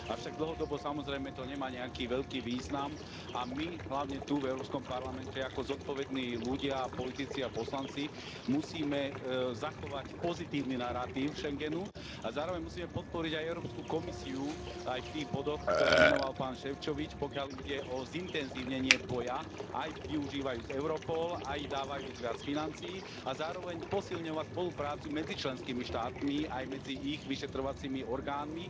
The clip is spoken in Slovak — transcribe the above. Avšak dlhodobo, samozrejme, to nemá nejaký veľký význam a my, hlavne tu v Európskom parlamente, ako zodpovední ľudia, politici a poslanci musíme zachovať pozitívny naratív Schengenu a zároveň musíme podporiť aj Európsku komisiu aj v tých bodoch, ktoré menoval pán Šefčovič, pokiaľ ide o zintenzívnenie boja, aj využívajúc Europol, aj dávajúc viac financií a zároveň posilňovať spoluprácu medzi členskými štátmi aj medzi ich vyšetrovacími orgánmi.